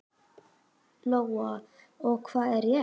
Lóa: Og hvað er rétt?